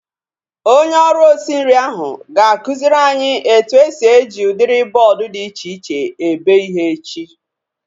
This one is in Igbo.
Onye ọrụ osi nri ahu ga-akụziri anyị etu esi eji udiri bọọdu dị iche iche ebe ihe echi